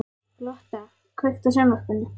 Lotta, kveiktu á sjónvarpinu.